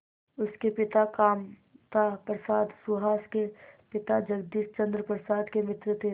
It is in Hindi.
उसके पिता कामता प्रसाद सुहास के पिता जगदीश चंद्र प्रसाद के मित्र थे